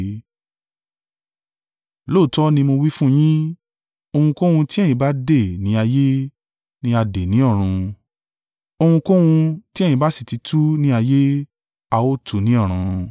“Lóòótọ́ ni mo wí fún yín, ohunkóhun tí ẹ̀yin bá dè ní ayé, ni a dè ní ọ̀run. Ohunkóhun ti ẹ̀yin bá sì ti tú ni ayé, á ò tú u ní ọ̀run.